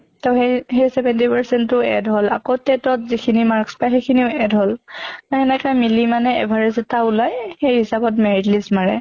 ত হেই হেই seventy percent টো add হʼল আকৌ TET ত যিখিনি marks পায় সিখ্নিও add হʼল। এনেকে মিলি মানে average এটা ওলাই সেই হিচাপে merit list মাৰে।